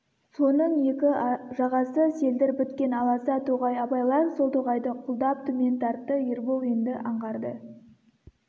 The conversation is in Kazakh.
соның екі жағасы селдір біткен аласа тоғай абайлар сол тоғайды құлдап төмен тартты ербол енді аңғарды